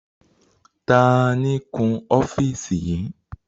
Taàní ó kun ọ́fíìsì yìí?